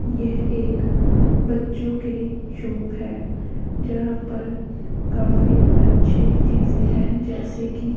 यह एक बच्चों के शॉप है जहां पर काफी अच्छी चीजे हैं जैसे की--